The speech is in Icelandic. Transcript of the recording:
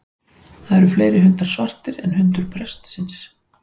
Það eru fleiri hundar svartir en hundurinn prestsins.